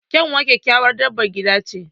Kyanwa kyakkyawar dabar gida ce